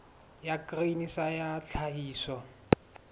ya grain sa ya tlhahiso